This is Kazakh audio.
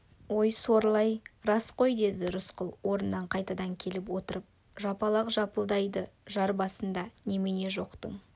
ой сорлы-ай рас қой деді рысқұл орнына қайтадан келіп отырып жапалақ жалпылдайды жар басында немене жоқтың